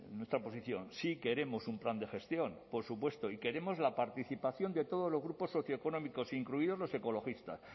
nuestra posición sí queremos un plan de gestión por supuesto y queremos la participación de todos los grupos socioeconómicos incluidos los ecologistas